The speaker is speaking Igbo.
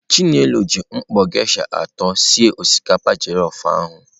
Chinelo ji mkpọ geisha atọ sie osikapa jellof ahụ.